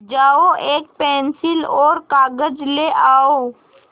जाओ एक पेन्सिल और कागज़ ले आओ